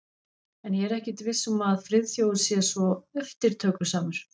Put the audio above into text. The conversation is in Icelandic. En ég er ekkert viss um að Friðþjófur sé svo eftirtökusamur.